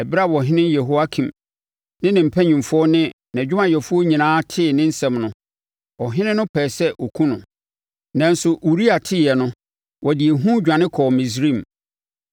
Ɛberɛ a ɔhene Yehoiakim ne ne mpanimfoɔ ne nʼadwumayɛfoɔ nyinaa tee ne nsɛm no, ɔhene no pɛɛ sɛ ɔkum no, nanso Uria teeɛ no, ɔde ehu dwane kɔɔ Misraim.